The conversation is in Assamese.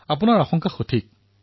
আপোনাৰ আশংকা সঠিক